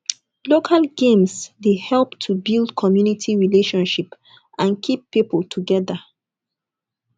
local games dey help to build commumity relationship and keep pipo together